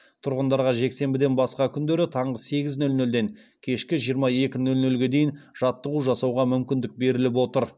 тұрғындарға жексенбіден басқа күндері таңғы сегіз нөл нөлден кешкі жиырма екі нөл нөлге дейін жаттығу жасауға мүмкіндік беріліп отыр